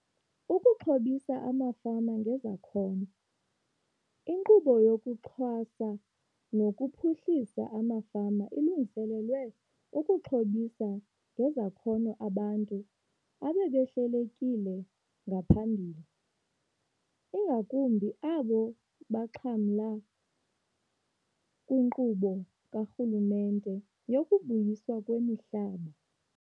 Ukuxhobisa Amafama Ngezakhono. INkqubo yokuXhasa nokuPhuhlisa amaFama ilungiselelwe ukuxhobisa ngezakhono abantu ababehlelelekile ngaphambili, ingakumbi abo baxhamla kwinkqubo karhulumente yokuBuyiswa kwemiHlaba.